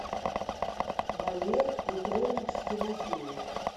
валер петрович тимофеев